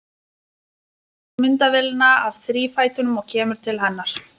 Hann tekur myndavélina af þrífætinum og kemur til hennar.